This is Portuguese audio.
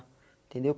Entendeu?